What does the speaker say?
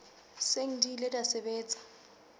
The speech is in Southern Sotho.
seng di ile tsa sebetsa